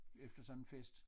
Efter sådan en fest